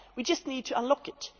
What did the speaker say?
We just need to unlock it.